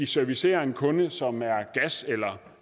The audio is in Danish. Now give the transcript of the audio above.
servicere en kunde som er gas eller